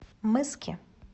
мыски